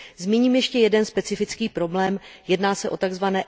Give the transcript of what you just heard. Zmíním ještě jeden specifický problém, jedná se o tzv.